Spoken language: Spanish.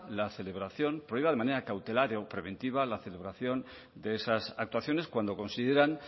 la celebración prohíba de manera cautelar o preventiva la celebración de esas actuaciones cuando consideran